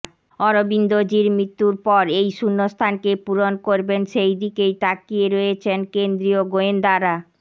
অরবিন্দজির মৃত্যুর পর এই শূন্যস্থানকে পূরণ করবেন সেই দিকেই তাকিয়ে রয়েছেন কেন্দ্রীয় গোয়েন্দারা